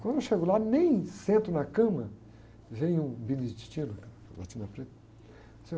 Quando eu chego lá, nem sento na cama, vem um beneditino,